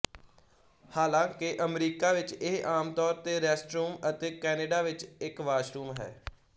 ਹਾਲਾਂਕਿ ਅਮਰੀਕਾ ਵਿੱਚ ਇਹ ਆਮ ਤੌਰ ਤੇ ਰੈਸਟਰੂਮ ਅਤੇ ਕੈਨੇਡਾ ਵਿੱਚ ਇੱਕ ਵਾਸ਼ਰੂਮ ਹੈ